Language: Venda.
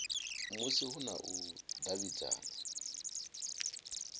musi hu na u davhidzana